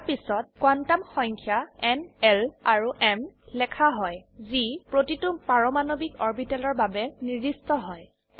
ইয়াৰ পিছত কোয়ান্টাম সংখ্যা ন l আৰু m লেখা হয় যি প্ৰতিটো পাৰমাণবিক অৰবিটেলৰ বাবে নিৰ্দিষ্ট হয়